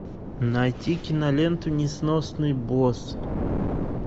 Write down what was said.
найти киноленту несносные боссы